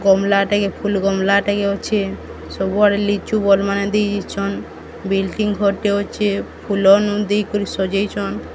ଗମଲାଟେ ଫୁଲ୍ ଗମଲା ଟେ କେ ଅଛେ। ସବୁ ଆଡ଼େ ଲିଚୁ ବଲ୍ ମାନେ ଦେଇ ଦେଇଛନ୍। ବିଲଡିଂ ଘରଟେ ଅଛେ। ଫୁଲ ନୁ ଦେଇ କରି ସଜେଇଚନ୍।